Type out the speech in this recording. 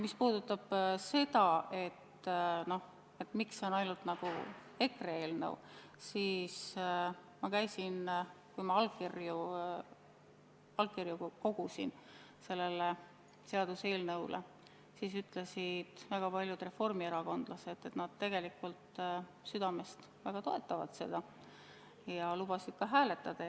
Mis puudutab seda, miks see on ainult EKRE eelnõu, siis kui ma käisin sellele seaduseelnõule allkirju kogumas, siis ütlesid väga palju reformierakondlased, et nad tegelikult südames väga toetavad seda ja lubasid ka poolt hääletada.